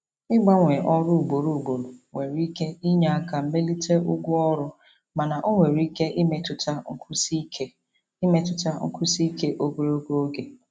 Ịgbanwe ọrụ ugboro ugboro nwere ike inye aka melite ụgwọ ọrụ mana ọ nwere ike imetụta nkwụsi ike imetụta nkwụsi ike ogologo oge.